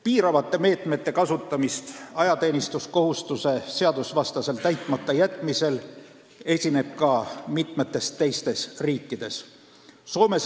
Piiravate meetmete kasutamist ajateenistuskohustuse seadusvastaselt täitmata jätmisel esineb ka mitmetes teistes riikides.